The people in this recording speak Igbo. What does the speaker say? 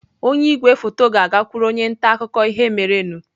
Onye igwefoto ga-agakwuru onye nta akụkọ ihe merenụ